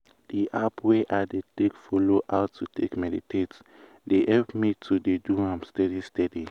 di app wey i take dey follow how to take meditate dey help me to dey do am steadiy steady.